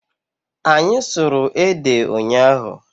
Anyị sụrụ ede ụnyaahụ.